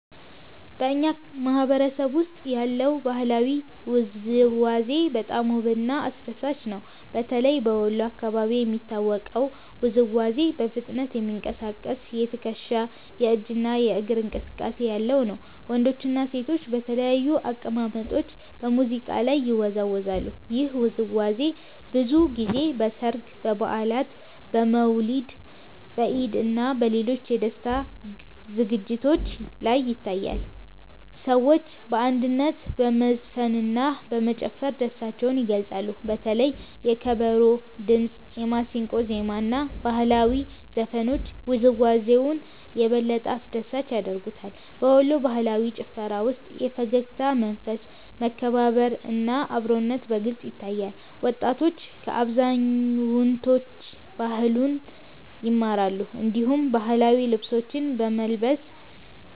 በእኛ ማህበረሰብ ውስጥ ያለው ባህላዊ ውዝዋዜ በጣም ውብና አስደሳች ነው። በተለይ በወሎ አካባቢ የሚታወቀው ውዝዋዜ በፍጥነት የሚንቀሳቀስ የትከሻ፣ የእጅ እና የእግር እንቅስቃሴ ያለው ነው። ወንዶችና ሴቶች በተለያዩ አቀማመጦች በሙዚቃ ላይ ይወዛወዛሉ። ይህ ውዝዋዜ ብዙ ጊዜ በሠርግ፣ በበዓላት፣ በመውሊድ፣ በኢድ እና በሌሎች የደስታ ዝግጅቶች ላይ ይታያል። ሰዎች በአንድነት በመዝፈንና በመጨፈር ደስታቸውን ይገልጻሉ። በተለይ የከበሮ ድምጽ፣ የማሲንቆ ዜማ እና ባህላዊ ዘፈኖች ውዝዋዜውን የበለጠ አስደሳች ያደርጉታል። በወሎ ባህላዊ ጭፈራ ውስጥ የፈገግታ መንፈስ፣ መከባበር እና አብሮነት በግልጽ ይታያል። ወጣቶች ከአዛውንቶች ባህሉን ይማራሉ፣ እንዲሁም ባህላዊ ልብሶችን በመልበስ